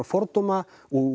fordóma